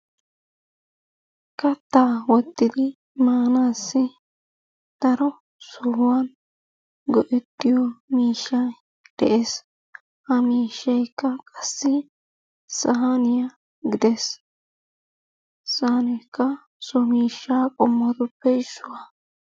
Kattaa wottidi maanassi daro sohuwan go'ettiyo miishshay de'ees. Ha miishaykka qassi sahaaniya gidees. Saanekka so miishshaa qommotuppe issuwaa.